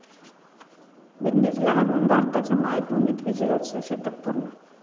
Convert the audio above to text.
विंडीजला हरवून भारताचं मायभूमीत विजयाचं 'शतक' पूर्ण